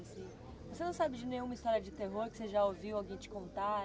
Você não sabe de nenhuma história de terror que você já ouviu alguém te contar aí?